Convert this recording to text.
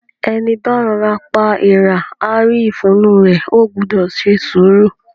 Ẹní bá rọ'ra pa èèrà, á rí ìfun inú u rẹ̀. O gbúdọ̀ se sùúrù!